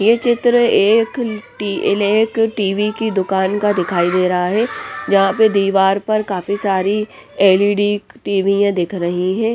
ये चित्र एक टी एक टी_वी की दुकान का दिखाई दे रहा हैं जहाँ पर दीवार पर काफी सारी एल_ई_डी टीवि याँ दिख रही हैं।